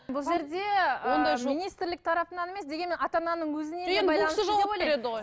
бұл жерде жоқ министрлік тарапынан емес дегенмен ата ананың өзіне де